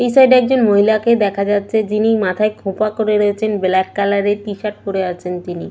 এই সাইড এ একজন মহিলা কে দেখা যাচ্ছে যিনি মাথায় খোঁপা করে রয়েছেন ব্ল্যাক কালার এর টি শার্ট পরে আছেন তিনি।